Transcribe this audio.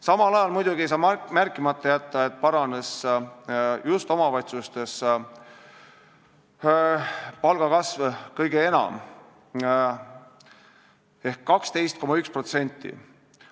Samal ajal ei saa muidugi märkimata jätta, et just omavalitsustes kasvas palk kõige enam: 12,1%.